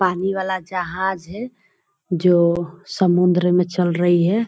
पानी वाला जहाज है जो समुन्द्र में चल रही है।